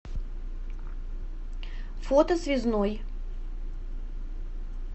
фото связной